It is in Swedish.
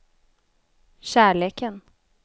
kärleken